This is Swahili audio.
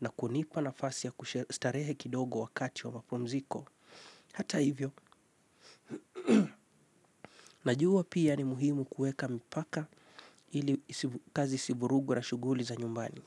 na kunipa na fasi ya kustarehe kidogo wakati wa mapumziko. Hata hivyo, najua pia ni muhimu kuweka mipaka ili kazi isivurugwe na shughuli za nyumbani.